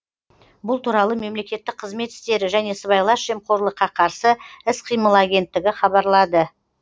бұл туралы мемлекеттік қызмет істері және сыбайлас жемқорлыққа қарсы іс қимыл агенттігі хабарлады